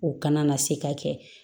O kana na se ka kɛ